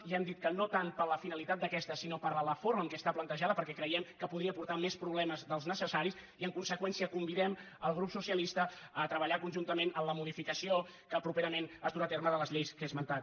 ja hem dit que no tant per la finalitat d’aquesta sinó per la forma amb què està plantejada perquè creiem que podria portar més problemes dels necessaris i en conseqüència convidem el grup socialista a treballar conjuntament en la modificació que properament es durà a terme de les lleis que he esmentat